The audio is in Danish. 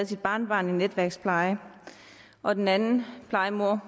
sit barnebarn i netværkspleje og den anden plejemor